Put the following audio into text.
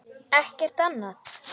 Ekkert annað?